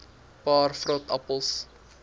paar vrot appels